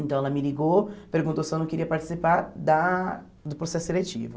Então ela me ligou, perguntou se eu não queria participar da do processo seletivo.